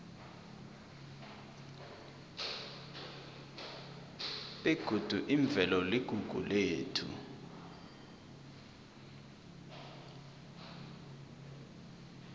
begodi imvelo iligugu lethu